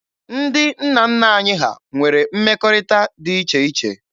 Ndị nna nna anyị ha nwere mmekọrịta dị iche iche.